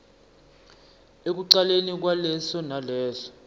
ekucaleni kwaleso naleso